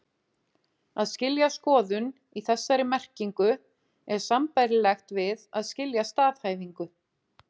Að skilja skoðun, í þessari merkingu, er sambærilegt við að skilja staðhæfingu.